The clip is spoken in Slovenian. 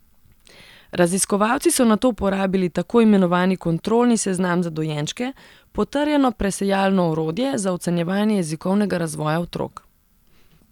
Raziskovalci so nato uporabili tako imenovani kontrolni seznam za dojenčke, potrjeno presejalno orodje, za ocenjevanje jezikovnega razvoja otrok.